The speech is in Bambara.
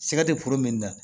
Siga tɛ min na